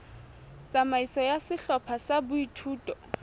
tsamaiso ya sehlopha sa boithuto